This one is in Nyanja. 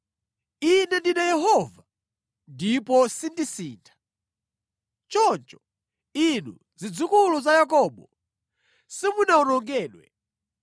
“Ine ndine Yehova, ndipo sindisintha. Choncho inu zidzukulu za Yakobo, simunawonongedwe.